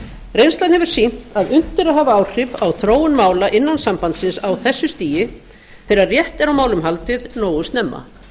reynslan hefur sýnt að unnt er að hafa áhrif á þróun mála innan sambandsins á þessu stigi þegar rétt er á málum haldið nógu snemma